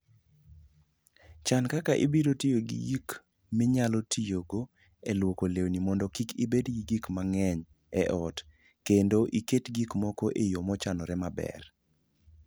Chan kaka ibiro tiyo gi gik minyalo tigo e lwoko lewni mondo kik ibed gi gik mang'eny e ot kendo iket gik moko e yo mochanore maber.